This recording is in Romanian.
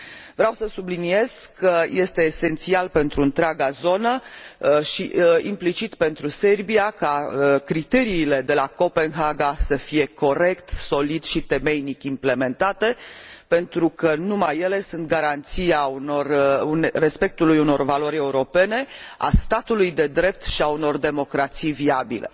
Vreau să subliniez că este esențial pentru întreaga zonă și, implicit, pentru Serbia, ca criteriile de la Copenhaga să fie corect, solid și temeinic implementate, pentru că numai ele sunt garanția respectului unor valori europene, a statului de drept și a unor democrații viabile.